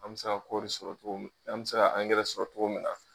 An bɛ se ka kɔɔri sɔrɔ cogo min, an bɛ se ka angɛrɛ sɔrɔ cogo min na.